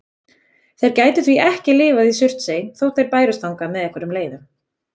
Þeir gætu því ekki lifað í Surtsey þótt þeir bærust þangað með einhverjum leiðum.